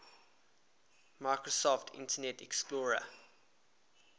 microsoft internet explorer